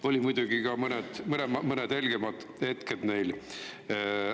Olid muidugi ka mõned helgemad hetked neil.